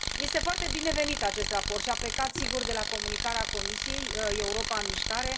Este foarte bine binevenit acest raport și a plecat, sigur, de la comunicarea Comisiei Europa în mișcare.